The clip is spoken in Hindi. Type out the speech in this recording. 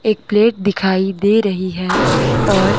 एक प्लेट दिखाई दे रही है और--